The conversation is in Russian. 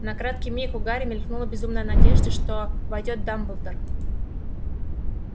на краткий миг у гарри мелькнула безумная надежда что войдёт дамблдор